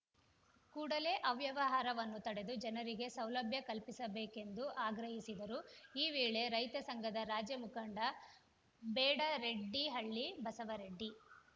ಕೂಡಲೆ ಅವ್ಯವಹಾರವನ್ನು ತಡೆದು ಜನರಿಗೆ ಸೌಲಭ್ಯ ಕಲ್ಪಿಸಬೇಕೆಂದು ಆಗ್ರಹಿಸಿದರು ಈ ವೇಳೆ ರೈತ ಸಂಘದ ರಾಜ್ಯ ಮುಖಂಡ ಬೇಡರೆಡ್ಡಿಹಳ್ಳಿ ಬಸವರೆಡ್ಡಿ